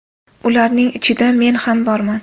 Ularning ichida men ham borman.